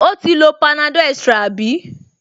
O ti lo panadol extra àbí?